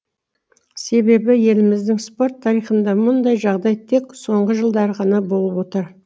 себебі еліміздің спорт тарихында мұндай жағдай тек соңғы жылдары ғана болып отыр